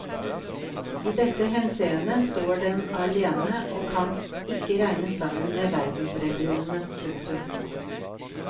I dette henseende står den alene og kan ikke regnes sammen med verdensreligionene. punktum